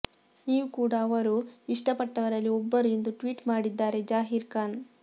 ನೀವು ಕೂಡ ಅವರು ಇಷ್ಟಪಟ್ಟವರಲ್ಲಿ ಒಬ್ಬರು ಎಂದು ಟ್ವೀಟ್ ಮಾಡಿದ್ದಾರೆ ಜಹೀರ್ ಖಾನ್